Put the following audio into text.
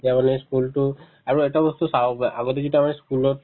মানে school তো আৰু এটা বস্তু চাওঁ বা আগতে যেতিয়া আমাৰ school ত